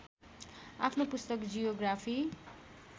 आफ्नो पुस्तक जियोग्राफी